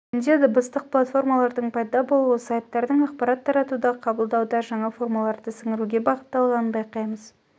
бүгінде дыбыстық платформалардың пайда болуы сайттардың ақпарат таратуда қабылдауда жаңа формаларды сіңіруге бағытталғанын байқаймыз